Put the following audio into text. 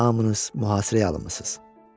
Hamınız mühasirəyə alınmısız.